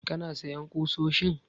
Kana sayan ƙusoshin?